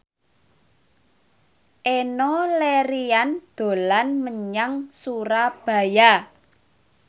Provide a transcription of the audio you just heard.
Enno Lerian dolan menyang Surabaya